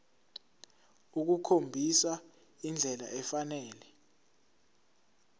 ukukhombisa indlela efanele